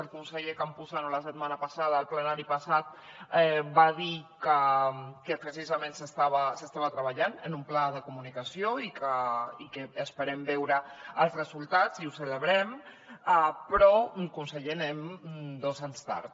el conseller campuzano la setmana passada al plenari passat va dir que precisament s’estava treballant en un pla de comunicació i n’esperem veure els resultats i ho celebrem però conseller anem dos anys tard